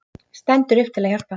Stendur upp til að hjálpa.